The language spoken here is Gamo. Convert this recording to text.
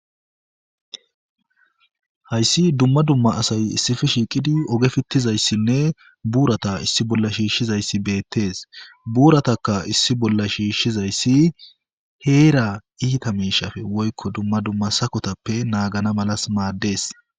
Hayssi dumma dumma asay issifi shiiqidi oge fittizayssinne buurata issi bolla shiishshizayssi beettees buurataka issi bolla shiishshizayssi heera iita miishafe woykko dumma dumma sakotappe naagana malas maaddees.